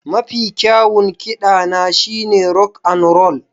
Mafi kyawun kiɗana shine rock and roll